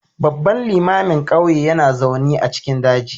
Babban limamin ƙauyen yana zaune a cikin daji